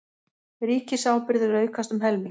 Ríkisábyrgðir aukast um helming